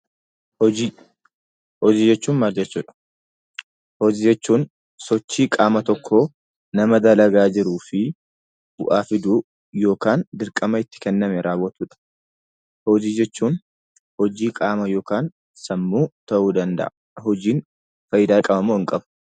Hojii jechuun maal jechuudha? Hojii jechuun sochii qaama tokkoo nama dalagaa jiruu fi bu'aa fiduu yookiin dirqama itti kenname raawwachuuf . Hojii jechuun hojii qaamaa ta'uu danda'a. Hojiin fayidaa qaba moo hin qabuu?